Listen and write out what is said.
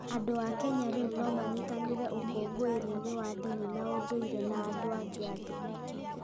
Andũ a Kenya rĩu no manyitanĩre ũkũngũĩri-inĩ wa ndini na ũndũire na andũ angĩ a thĩ.